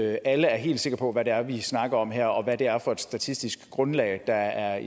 at alle er helt sikre på hvad det er vi snakker om her og hvad det er for et statistisk grundlag der er